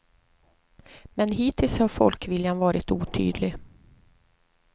Men hittills har folkviljan varit otydlig.